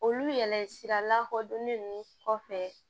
Olu yɛlɛsi la kodɔnnen ninnu kɔfɛ